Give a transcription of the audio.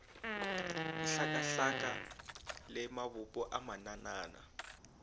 dihlakahlaka le mabopo a mananana